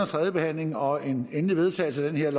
tredje behandling og en endelig vedtagelse af det her